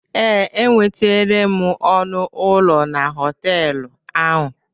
Ee, enwetere m ọnụ ụlọ na họtelụ ahụ.